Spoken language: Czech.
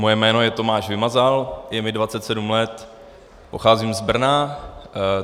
Moje jméno je Tomáš Vymazal, je mi 27 let, pocházím z Brna.